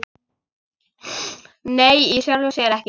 Nei, í sjálfu sér ekki.